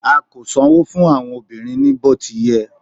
a ko sanwo fún àwọn obìnrin ni oti yé